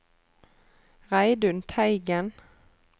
Reidun Teigen